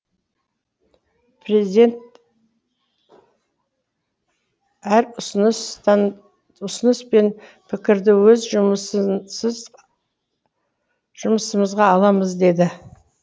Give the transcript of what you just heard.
президент әр ұсыныс пен пікірді өз жұмысымызға аламыз деді